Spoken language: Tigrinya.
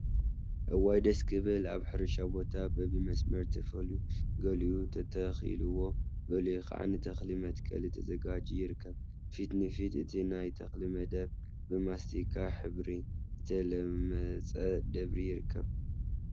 እዋይ ደስ ክብል! አብ ሕርሻ ቦታ በቢመስመር ተፈልዩ ገሊኡ ተተኪልዎ ገሊኡ ከዓ ንተክሊ መትከሊ ተዘጋጅዩ ይርከብ፡፡ ፊት ንፊት እቲ ናይ ተክሊ መደብ ብማስቲካ ሕብሪ ዝተለመፀ ደብሪ ይርከቡ፡፡